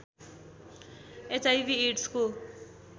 HIV एड्सको